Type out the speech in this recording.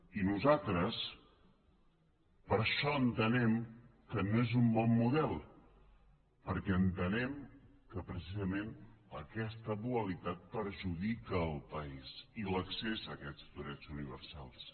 i nosaltres per això entenem que no és un bon model perquè entenem que precisament aquesta dualitat perjudica el país i l’accés a aquests drets universals